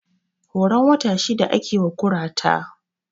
Horon wata shida ake wa kurata